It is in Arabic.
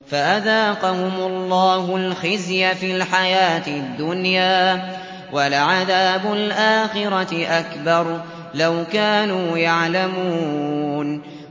فَأَذَاقَهُمُ اللَّهُ الْخِزْيَ فِي الْحَيَاةِ الدُّنْيَا ۖ وَلَعَذَابُ الْآخِرَةِ أَكْبَرُ ۚ لَوْ كَانُوا يَعْلَمُونَ